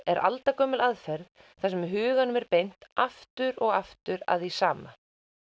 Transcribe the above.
er aldagömul aðferð þar sem huganum er beint aftur og aftur að því sama